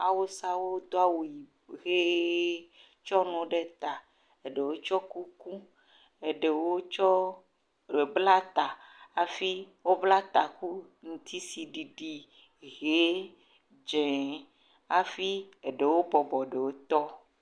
Awusawo do awu ʋi tsɔ nuawo ɖe ta eɖewo tsɔ kuku, eɖewo tsɔ bla ta hafi wo bla taku ŋutisiɖiɖi, hɛ, dzɛ, hafi aɖewo bɔbɔ ɖewo tɔ